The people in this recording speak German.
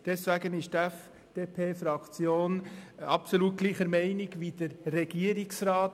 Deshalb ist die FDP-Fraktion absolut gleicher Meinung wie der Regierungsrat.